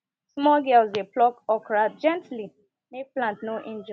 small girls dey pluck okra gently make plant no injure